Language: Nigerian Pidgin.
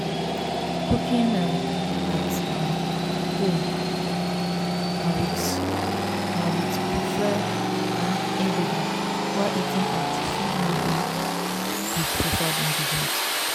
cooking um at um home na with home na with preferred um ingredients while eating out fit no be with preferred ingredients